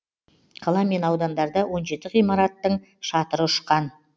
қала мен аудандарда он жеті ғимаратың шатыры ұшқан